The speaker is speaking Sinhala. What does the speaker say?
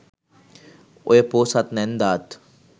ඔය පෝසත් නැන්දාත්